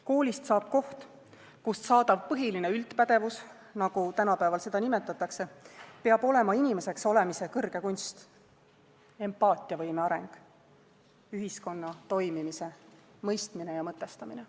Koolist saab koht, kust saadav põhiline üldpädevus, nagu tänapäeval seda nimetatakse, peab olema inimeseks olemise kõrge kunst, empaatiavõime areng, ühiskonna toimimise mõistmine ja mõtestamine.